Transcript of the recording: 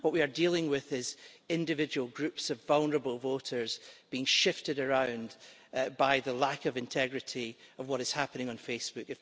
What we are dealing with is individual groups of vulnerable voters being shifted around by the lack of integrity of what is happening on Facebook.